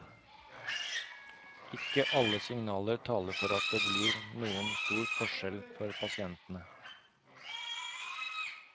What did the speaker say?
Ikke alle signaler taler for at det blir noen stor forskjell for pasientene.